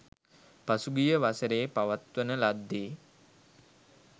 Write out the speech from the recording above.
පසුගිය වසරේ පවත්වන ලද්දේ